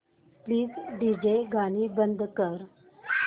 please DJ गाणी बंद कर